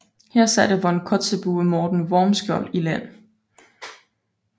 Her satte von Kotzebue Morten Wormskjold i land